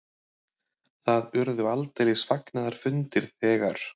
Það urðu aldeilis fagnaðarfundir þegar